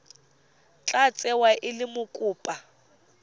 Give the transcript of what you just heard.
tla tsewa e le mokopa